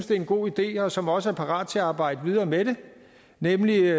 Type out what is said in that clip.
det er en god idé og som også er parat til at arbejde videre med det nemlig